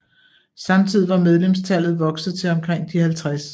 Samtidig var medlemstallet vokset til omkring de 50